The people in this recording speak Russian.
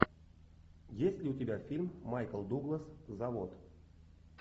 есть ли у тебя фильм майкл дуглас завод